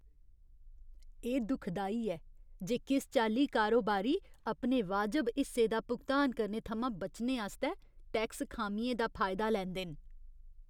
एह् दुखदाई ऐ जे किस चाल्ली कारोबारी अपने वाजब हिस्से दा भुगतान करने थमां बचने आस्तै टैक्स खामियें दा फायदा लैंदे न।